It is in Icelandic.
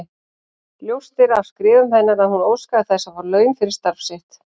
Ljóst er af skrifum hennar að hún óskaði þess að fá laun fyrir starf sitt.